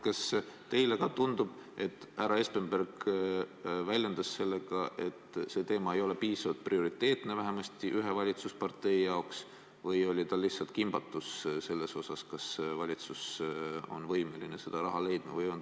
Kas teile ka tundub, et härra Espenberg väljendas oma küsimusega arvamust, et see teema ei ole piisavalt prioriteetne vähemasti ühe valitsuspartei jaoks, või oli ta lihtsalt kimbatuses, kas valitsus on võimeline seda raha leidma?